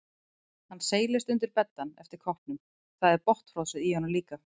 Hann seilist undir beddann eftir koppnum, það er botnfrosið í honum líka.